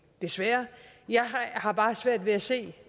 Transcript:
desværre jeg har bare svært ved at se